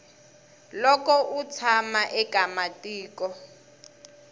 loko u tshama eka matiko